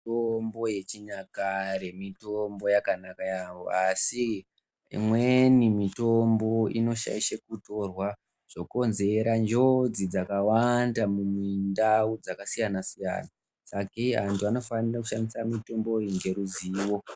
Mitombo yechinyakare mitombo yakanaka yaamho asi imweni mitombo inoshaishwe kutorwa zvokonzera njodzi dzakawanda mundau dzakasiyana-siyana. Sakei antu anofanira kushandisa mitombo iyi ngeruzivo.